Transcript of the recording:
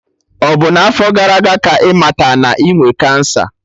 Ọ bụ n'afo gara aga ka ịmata na inwe kansa